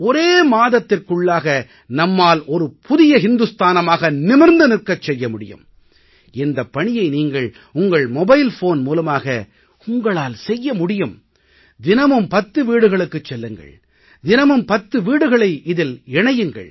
ஒரே மாதத்திற்குள்ளாக நம்மால் ஒரு புதிய ஹிந்துஸ்தானமாக நிமிர்ந்து நிற்கச் செய்ய முடியும் இந்தப் பணியை நீங்கள் உங்கள் மொபைல் ஃபோன் மூலமாக உங்களால் செய்ய முடியும் தினமும் பத்து வீடுகளுக்குச் செல்லுங்கள் தினமும் 10 வீடுகளை இதில் இணையுங்கள்